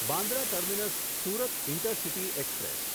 Bandra terminus Surat intercity express